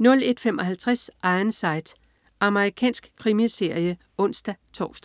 01.55 Ironside. Amerikansk krimiserie (ons-tors)